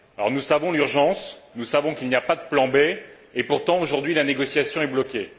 Nous savons qu'il y a urgence, nous savons qu'il n'y a pas de plan B, et pourtant, aujourd'hui, la négociation est bloquée.